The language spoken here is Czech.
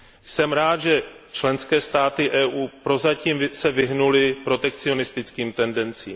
Jsem rád, že se členské státy EU prozatím vyhnuly protekcionistickým tendencím.